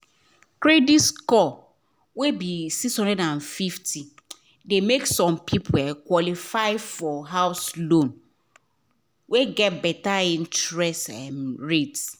credit score wey be 650 de make some people qualify for house loan wey get better interest um rate